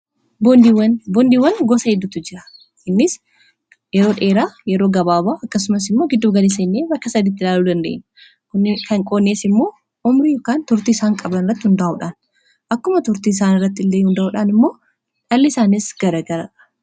boondiiwwan gosa heddutu jira innis yeroo dheeraa, yeroo gabaaba ,akkasumas immoo gidduu gali jannee bakka sadiiti ilaaluu dandeenya kan qoonnees immoo omrii yookaan turtii isaan qablan iratti hundaa'uudhaan akkuma turtii isaan irratti illee hunda'uudhaan immoo dhalli isaanis garagara